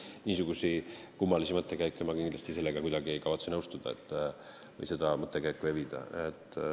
Niisuguste kummaliste mõttekäikudega ei kavatse ma nõustuda või neid mõttekäike evida.